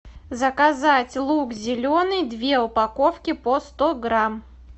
заказать лук зеленый две упаковки по сто грамм